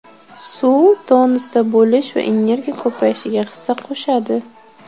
Suv tonusda bo‘lish va energiya ko‘payishiga hissa qo‘shadi.